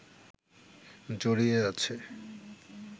জড়িয়ে আছে